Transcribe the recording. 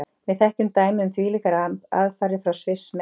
Við þekkjum dæmi um þvílíkar aðfarir frá Sviss, meðan